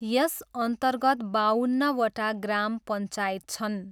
यसअन्तर्गत बाउन्नवटा ग्राम पञ्चायत छन्।